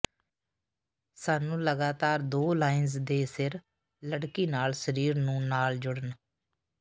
ਸਾਨੂੰ ਲਗਾਤਾਰ ਦੋ ਲਾਈਨਜ਼ ਦੇ ਸਿਰ ਲੜਕੀ ਨਾਲ ਸਰੀਰ ਨੂੰ ਨਾਲ ਜੁੜਨ